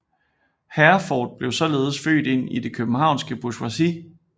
Herforth blev således født ind i det københavnske bourgeoisi